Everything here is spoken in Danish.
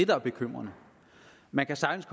der er bekymrende man kan sagtens